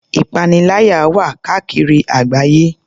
Ìpaniláyà wà káàkiri àgbáyé.